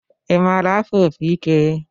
I maara afụ opi ike?